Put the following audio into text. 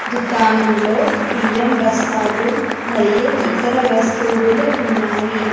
దుకాణంలో బియ్యం బస్తాలు మరియు ఇతర వస్తువులు ఉన్నాయి.